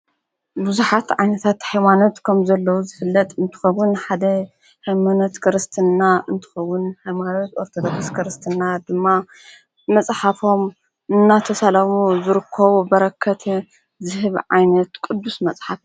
ብዙኃት ዓይታት ሕይዋነት ከም ዘለዉ ዝፍለጥ እንትኸዉን ሓደ ሕሞነት ክርስትና እንትኸዉን ኃይማርት ወርተ ደርስ ክርስትና ድማ መጽሓፎም እናተሰለሙ ዝርኮ በረከት ዝህብ ዓይነት ቕዱስ መጽሓፍ።